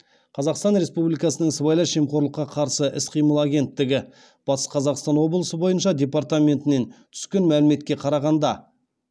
қазақстан республикасының сыбайлас жемқорлыққа қарсы іс қимыл агенттігі батыс қазақстан облысы бойынша департаментінен түскен мәліметке қарағанда